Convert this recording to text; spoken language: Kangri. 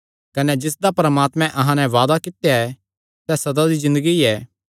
कने जिसदा परमात्मैं अहां नैं वादा कित्या सैई सदा दी ज़िन्दगी ऐ